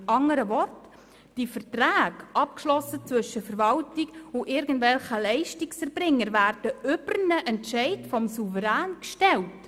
Mit anderen Worten, diese Verträge, welche die Verwaltung mit irgendwelchen Leistungserbringern abgeschlossen haben, werden über einen Entscheid des Souveräns gestellt.